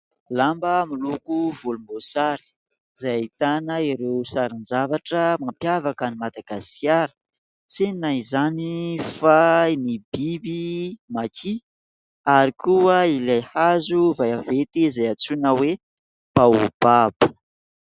Lamba miloko volomboasary, izay ahitana ireo sarin-javatra mampiavaka an'i Madagasikara. Tsinona izany fa ny biby maky ary koa ilay hazo vaventy izay antsoina hoe baobaba.